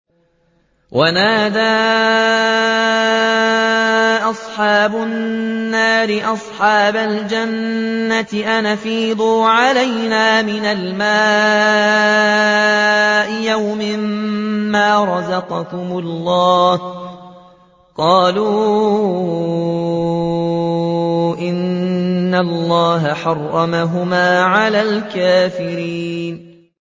وَنَادَىٰ أَصْحَابُ النَّارِ أَصْحَابَ الْجَنَّةِ أَنْ أَفِيضُوا عَلَيْنَا مِنَ الْمَاءِ أَوْ مِمَّا رَزَقَكُمُ اللَّهُ ۚ قَالُوا إِنَّ اللَّهَ حَرَّمَهُمَا عَلَى الْكَافِرِينَ